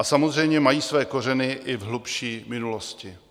A samozřejmě mají své kořeny i v hlubší minulosti.